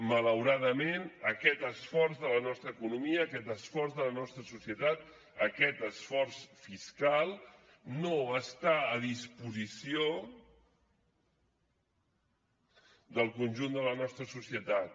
malauradament aquest esforç de la nostra economia aquest esforç de la nostra societat aquest esforç fiscal no està a disposició del conjunt de la nostra societat